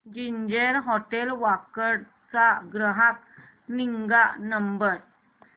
ginger hotel Wakad चा ग्राहक निगा नंबर